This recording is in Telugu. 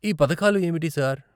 ఈ పథకాలు ఏమిటి, సార్?